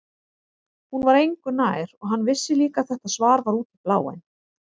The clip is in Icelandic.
Hún var engu nær og hann vissi líka að þetta svar var út í bláinn.